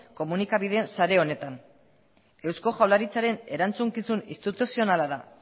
komunikabideen sare honetan eusko jaurlaritzaren erantzukizun instituzionala da